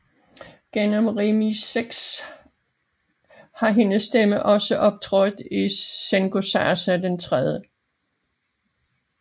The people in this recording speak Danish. Gennem remixes har hendes stemme også optrådt i Xenosaga III